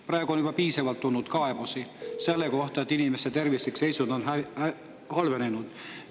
Praegu on juba piisavalt tulnud kaebusi selle kohta, et inimeste tervislik seisund on halvenenud.